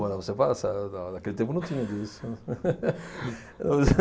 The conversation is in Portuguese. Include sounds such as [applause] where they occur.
Morava separado, se [unintelligible] na naquele tempo não tinha disso. [laughs]